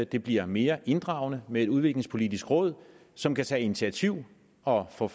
det bliver mere inddragende med et udviklingspolitisk råd som kan tage initiativ og få